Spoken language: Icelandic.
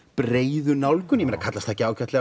breiðu nálgun kallast það ekki ágætlega